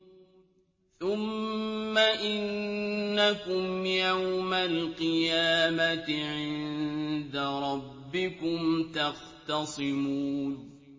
ثُمَّ إِنَّكُمْ يَوْمَ الْقِيَامَةِ عِندَ رَبِّكُمْ تَخْتَصِمُونَ